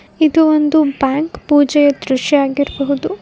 ಇದು ಒಂದು ಬ್ಯಾಂಕ್ ಪೂಜೆಯ ದೃಶ್ಯ ಆಗಿರಬಹುದು.